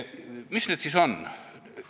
Mis need siis on?